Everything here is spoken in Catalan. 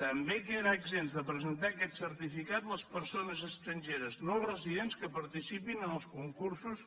també queden exempts de presentar aquest certificat les persones estrangeres no residents que participin en els concursos